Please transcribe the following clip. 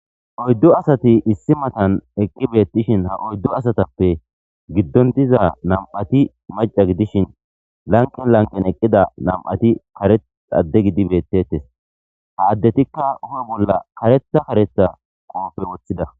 oyddu asati issi matan eqqi beettishin ha oyddu asatappe giddondiza nam7ati maca gidishin lanqen lanqen eqqida nam7ati karet adde gidi bettettes ha addetikka hu7e bolla kareta kareta qoofey woththida